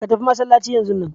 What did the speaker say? Ka tafi masallaci yanzun nan!